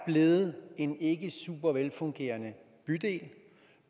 blevet en ikke super velfungerende bydel